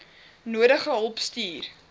nodige hulp stuur